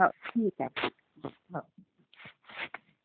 हो, ठीक आहे. हो, हो.